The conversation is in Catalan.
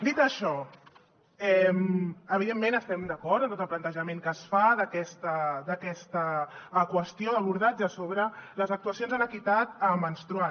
dit això evidentment estem d’acord amb tot el plantejament que es fa d’aquesta qüestió l’abordatge sobre les actuacions en equitat menstrual